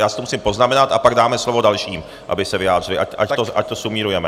Já si to musím poznamenat a pak dáme slovo dalším, aby se vyjádřili, ať to sumírujeme.